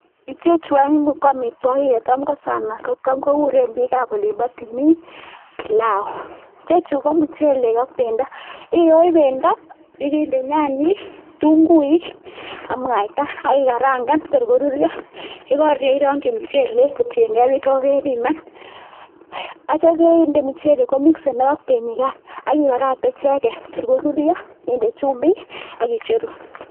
Ichechu ko amitwokik chetam ko sana ko kuren biikab olimbo timin bilau, ichechu ko muchelek ak bendo, iyoe bendo ak inde nyanyik, kitung'uik ak mwaita ak ikarang'an tor korurio, yekorurio irong'yi muchelek kotieng'e beek chekokebiman , akityo inde muchelek komikisenok ak benyikan ak ibakakte icheket tor korurio inde chumbik ak icheru.